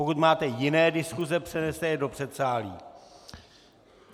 Pokud máte jiné diskuse, přeneste je do předsálí.